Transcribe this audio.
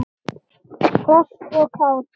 Hress og kát.